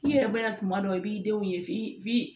I yɛrɛ bɛ na kuma dɔ i b'i denw ye